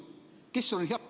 Kes see on?